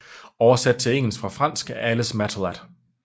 Oversat til engelsk fra fransk af Alice Mattullath